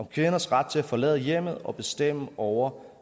kvinders ret til at forlade hjemmet og bestemme over